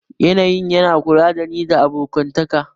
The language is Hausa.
Yanayin yana kula da ni da abokantaka